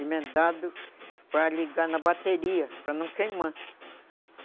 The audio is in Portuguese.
emendado para ligar na bateria, para não queimar.